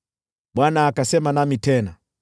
Bwana akasema nami tena: